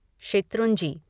Shetrunji